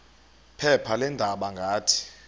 phepha leendaba ngathi